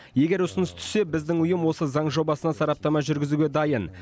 егер ұсыныс түссе біздің ұйым осы заң жобасына сараптама жүргізуге дайын